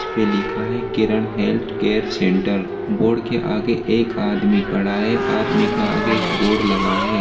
उस पे लिखा है Kiran health care center board के आगे एक आदमी खड़ा है आदमी के आगे बोर्ड लगा है।